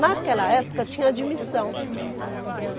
Naquela época tinha admissão.